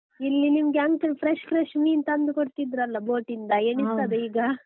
ಇಲ್ಲಿ ನಿಮ್ಗೆ uncle fresh fresh ಮೀನು ತಂದು ಕೊಡ್ತಿದ್ರಲ್ಲ boat ಇಂದ ಎಣಿಸ್ತದ ಈಗ .